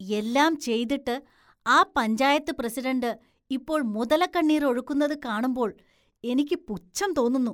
എല്ലാം ചെയ്തിട്ട് ആ പഞ്ചായത്ത് പ്രസിഡന്റ് ഇപ്പോള്‍ മുതലക്കണ്ണീര്‍ ഒഴുക്കുന്നത് കാണുമ്പോള്‍ എനിക്ക് പുച്ഛം തോന്നുന്നു.